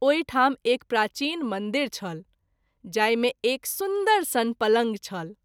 ओहि ठाम एक प्राचीन मंदिर छल, जाहि मे एक सुन्दर सन पलंग छल।